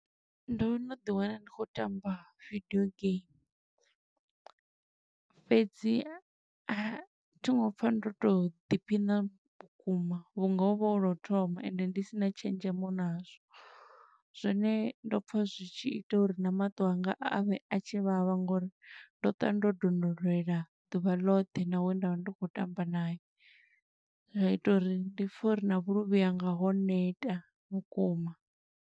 Ndo no ḓi wana ndi khou tamba vidio game, fhedzi a thi ngo pfa ndo to ḓiphiṋa vhukuma, vhunga hovha hu lwo u thoma ende ndi sina tshenzhemo nazwo. Zwone ndo pfa zwi tshi ita uri na maṱo a nga a vhe a tshi vhavha ngo uri ndo ṱwa ndo donulela ḓuvha ḽoṱhe na we nda vha ndi khou tamba naye. Zwa ita uri ndi pfe uri na vhuluvhi hanga, ho neta vhukuma.